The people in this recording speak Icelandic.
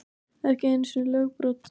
Ekki einu sinni lögbrot.